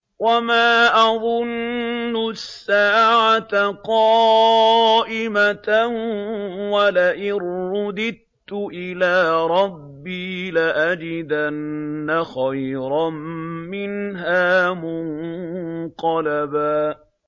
وَمَا أَظُنُّ السَّاعَةَ قَائِمَةً وَلَئِن رُّدِدتُّ إِلَىٰ رَبِّي لَأَجِدَنَّ خَيْرًا مِّنْهَا مُنقَلَبًا